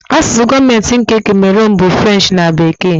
Asụsụ gọọmentị nke Kamerunu bụ French na Bekee